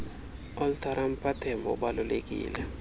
alteram partem ubalulekile